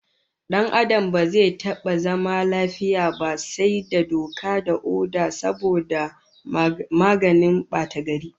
Dan Adam ba zai taba zama lafiya ba sai da doka da oda saboda maganin batagari